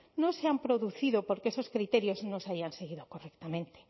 no se han producido porque esos criterios nos hayan seguido correctamente